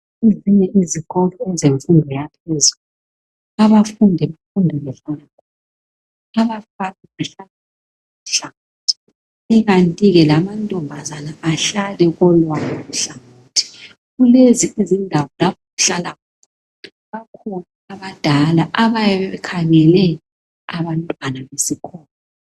Ezinye izikolo ezemfundo yaphezulu .Abafundi bafunda behlala khona .Abafana behlala kolwabo uhlangothi .Kukanti ke lamantombazana ahlale kolwawo uhlangothi .Kulezi izindawo lapho abahlala khona .Bakhona abadala abayabe bekhangele abantwana besikolo .